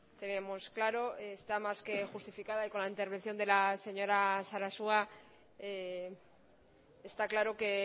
tenemos claro está más que justificada y con la intervención de la señora sarasua está claro que